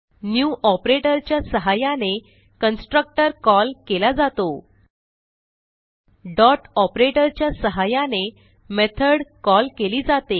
new operator च्या सहाय्याने constructor call केला जातो डॉट ऑपरेटर च्या सहाय्याने मेथॉड कॉल केली जाते